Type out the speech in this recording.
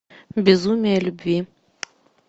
безумие любви